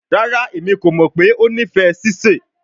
Rara, Emi ko mọ pe o nifẹ sise